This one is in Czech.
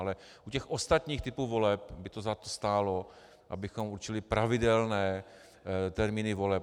Ale u těch ostatních typů voleb by to za to stálo, abychom určili pravidelné termíny voleb.